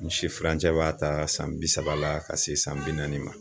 N si furancɛ b'a ta san bi saba la ka se san bi naani ma